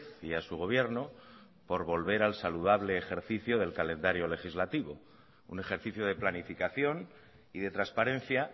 y a su gobierno por volver al saludable ejercicio del calendario legislativo un ejercicio de planificación y de transparencia